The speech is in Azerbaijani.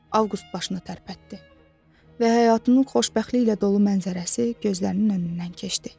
Avqust başını tərpətdi və həyatının xoşbəxtliklə dolu mənzərəsi gözlərinin önündən keçdi.